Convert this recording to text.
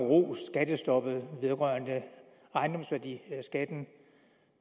rost skattestoppet vedrørende ejendomsværdiskatten